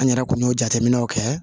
An yɛrɛ kun y'o jateminɛw kɛ